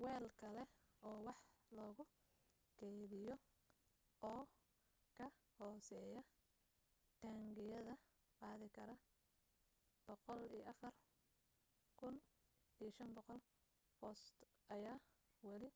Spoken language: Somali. weel kale oo wax lagu kaydiyo oo ka hooseeya taangiyada qaadi kara 104,500 foost ayaa wali